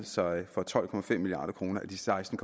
sig for tolv milliard kroner af de seksten